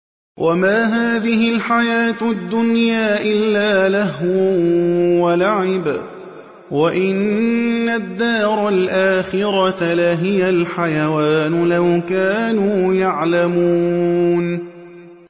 وَمَا هَٰذِهِ الْحَيَاةُ الدُّنْيَا إِلَّا لَهْوٌ وَلَعِبٌ ۚ وَإِنَّ الدَّارَ الْآخِرَةَ لَهِيَ الْحَيَوَانُ ۚ لَوْ كَانُوا يَعْلَمُونَ